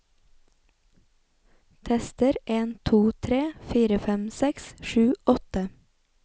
Tester en to tre fire fem seks sju åtte